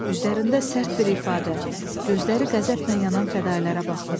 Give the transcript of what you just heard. Üzlərində sərt bir ifadə, gözləri qəzəblə yanan fədailərə baxdım.